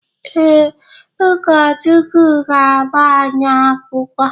Ee, ụkọchukwu ga-agba anyị akwụkwọ.